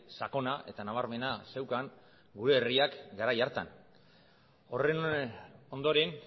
sakona eta nabarmena zeukan gure herriak garai hartan horren ondoren